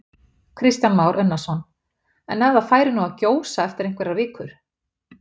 Kristján Már Unnarsson: En ef það færi nú að gjósa eftir einhverjar vikur?